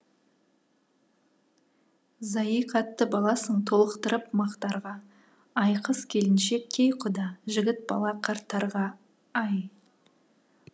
зайый қатты баласың толықтырып мақтарға ай қыз келіншек кей құда жігіт бала қарттарға ай